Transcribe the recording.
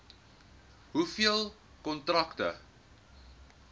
hoeveel kontrakte